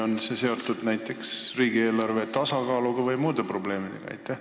On see seotud näiteks riigieelarve tasakaalu või muude probleemidega?